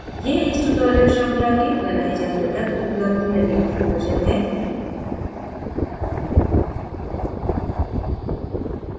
यह इस tutorial शृंखला के बनाए जाने तक उपलब्ध नवीनतम version है